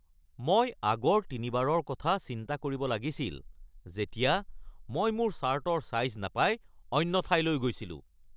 মই আগৰ তিনিবাৰৰ কথা চিন্তা কৰিব লাগিছিল যেতিয়া মই মোৰ চাৰ্টৰ ছাইজ নাপাই অন্য ঠাইলৈ গৈছিলোঁ। (মই)